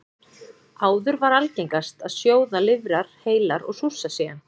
Áður var algengast að sjóða lifrar heilar og súrsa síðan.